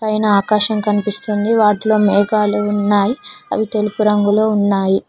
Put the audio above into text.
పైన ఆకాశం కనిపిస్తుంది వాటిలో మేఘాలు ఉన్నాయి అవి తెలుపు రంగులో ఉన్నాయి.